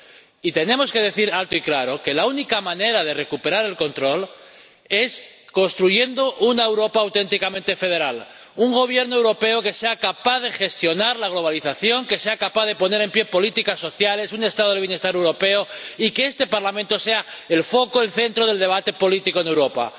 Y tenemos que decir alto y claro que la única manera de recuperar el control es construyendo una Europa auténticamente federal, con un Gobierno europeo que sea capaz de gestionar la globalización, que sea capaz de poner en pie políticas sociales y un Estado del bienestar europeo. Y que este Parlamento sea el foco, el centro del debate político en Europa.